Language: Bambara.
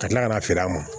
Ka tila ka na feere a ma